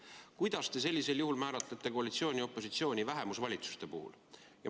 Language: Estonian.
Kuidas te sellisel juhul määratlete koalitsiooni ja opositsiooni vähemusvalitsuse puhul?